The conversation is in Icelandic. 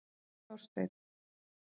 Það var Þorsteinn.